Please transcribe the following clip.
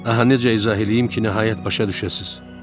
Aha, necə izah eləyim ki, nəhayət başa düşəsiz.